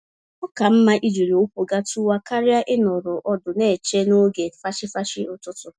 Oka mma ijiri ụkwụ gatuwa karịa ịnọrọ ọdụ neche noge fachi-fachi ụtụtụ